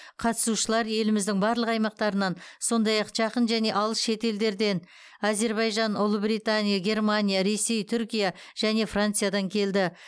қатысушылар еліміздің барлық аймақтарынан сондай ақ жақын және алыс шетелдерден әзербайжан ұлыбритания германия ресей түркия және франциядан келді